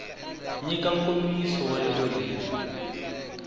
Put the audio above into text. nyika nkomiso wa rito leri